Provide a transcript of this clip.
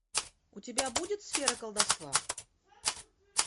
у тебя будет сфера колдовства